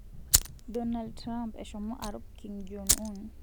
Donald Trump eshomo arup Kim Jong-Un